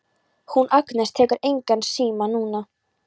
Hún Agnes tekur engan síma núna.